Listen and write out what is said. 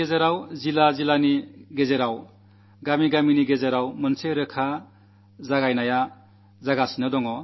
സംസ്ഥാനങ്ങളും സംസ്ഥാനങ്ങളും തമ്മിൽ ജില്ലകൾ തമ്മിൽ ഗ്രാമങ്ങൾ തമ്മിൽ ആരോഗ്യപരമായ മത്സരം നടക്കുകയാണ്